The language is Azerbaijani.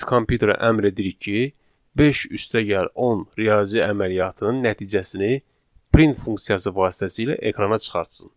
Biz kompüterə əmr edirik ki, 5 üstəgəl 10 riyazi əməliyyatın nəticəsini print funksiyası vasitəsilə ekrana çıxartsın.